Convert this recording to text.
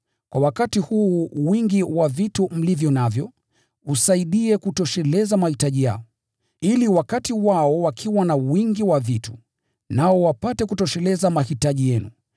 Kwa wakati huu, wingi wa vitu mlivyo navyo usaidie kutosheleza mahitaji yao, ili wakati wao watakapokuwa na wingi wa vitu, nao wapate kutosheleza mahitaji yenu.